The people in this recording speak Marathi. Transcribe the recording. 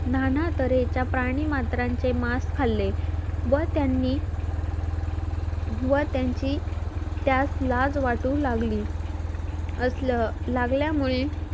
नानातरे त्या प्राणीमात्रांचे मांस खाल्ले व त्यांनी वर त्यांची त्यास लाज वाटू लागली असल लागल्या मुळे